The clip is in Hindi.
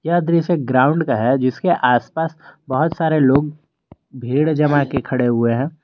यह दृश्य ग्राउंड का है इसके आसपास बहुत सारे लोग भीड़ जमा के खड़े हुए हैं।